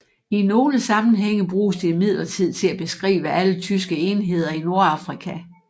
I nogle sammenhænge bruges det imidlertid til at beskrive alle tyske enheder i Nordafrika